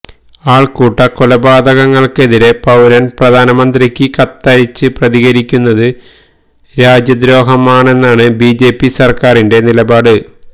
ആള്ക്കൂട്ടക്കൊലപാതകങ്ങള്ക്കെതിരേ പൌരന് പ്രധാനമന്ത്രിക്ക് കത്തയച്ച് പ്രതികരിക്കുന്നത് രാജ്യദ്രോഹമാണെന്നാണ് ബിജെപി സര്ക്കാരിന്റെ നിലപാട്